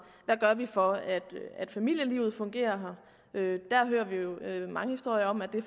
hvad vi gør for at familielivet fungerer her der hører vi jo mange historier om at det